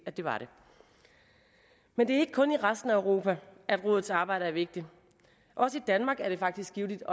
var det men det er ikke kun i resten af europa at rådets arbejde er vigtigt også i danmark er det faktisk givtigt